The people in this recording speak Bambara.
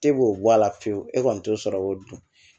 E b'o bɔ a la fiyewu e kɔni t'o sɔrɔ o dun